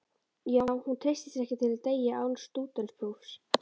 Já, hún treystir sér ekki til að deyja án stúdentsprófs.